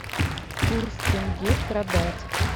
курс тенге продать